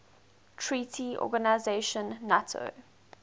treaty organisation nato